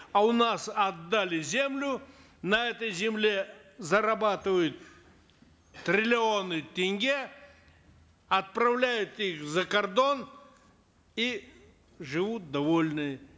а у нас отдали землю на этой земле зарабатывают триллионы тенге отправляют их за кордон и живут довольные